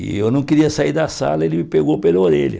E eu não queria sair da sala, ele me pegou pela orelha.